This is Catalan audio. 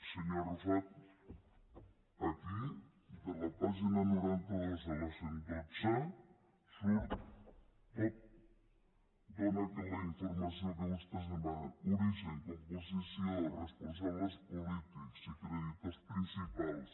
senyor arrufat aquí de la pàgina noranta dos a la cent i dotze hi surt tot dóna la informació que vostès demanen origen composició responsables polítics i creditors principals